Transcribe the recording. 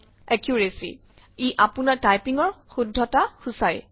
accuracy - ই আপোনাৰ টাইপিঙৰ শুদ্ধতা সূচায়